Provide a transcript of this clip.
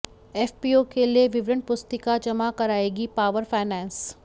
FPO के लिए विवरण पुस्तिका जमा कराएगी पावर फाइनैंस